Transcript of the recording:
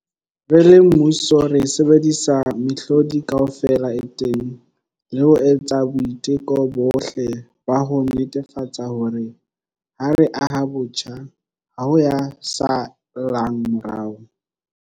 Re le mmuso, re sebedisa mehlodi kaofela e teng le ho etsa boiteko bohle ba ho netefatsa hore, ha re aha botjha, ha ho ya sa llang morao.